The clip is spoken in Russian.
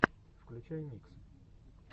включай миксы